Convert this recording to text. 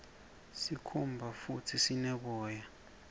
sikhumba futdi sine boya